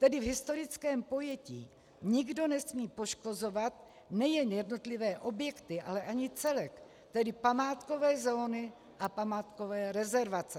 Tedy v historickém pojetí nikdo nesmí poškozovat nejen jednotlivé objekty, ale ani celek, tedy památkové zóny a památkové rezervace.